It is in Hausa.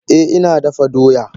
Eh ina dafa doya.